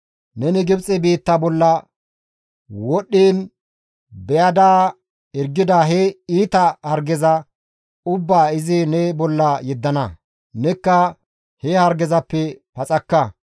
Neni Gibxe biitta bolla wodhdhiin beyada hirgida he iita hargeza ubbaa izi ne bolla yeddana; nekka he hargezappe paxakka.